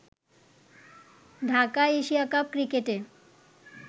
ঢাকায় Asia Cup ক্রিকেটে